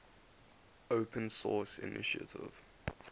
open source initiative